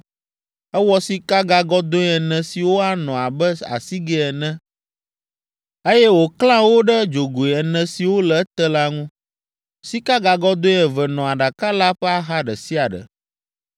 Ewɔ sikagagɔdɔ̃e ene siwo anɔ abe asigɛ ene, eye wòklã wo ɖe dzogoe ene siwo le ete la ŋu; sikagagɔdɔ̃e eve nɔ aɖaka la ƒe axa ɖe sia ɖe.